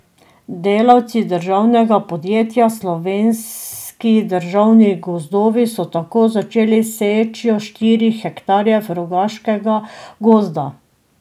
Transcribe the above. Delavci državnega podjetja Slovenski državni gozdovi so tako začeli s sečnjo štirih hektarjev Rogoškega gozda.